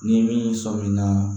Ni min sɔnminna